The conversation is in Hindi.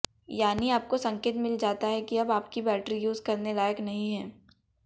यानी आपको संकेत मिल जाता है कि अब आपकी बैटरी यूज़ करने लायक नहीं है